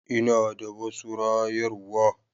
Ina da wasu rayarwa.